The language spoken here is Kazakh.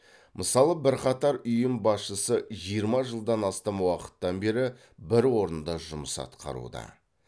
мысалы бірқатар ұйым басшысы жиырма жылдан астам уақыттан бері бір орында жұмыс атқаруда